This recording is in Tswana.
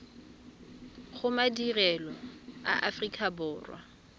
go madirelo a aforika borwa